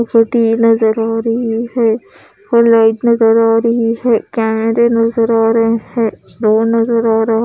society नजर आ रह है और लाइट नजर आ रही है कैमरे नजर आ रहे है डोर नजर आ रहा--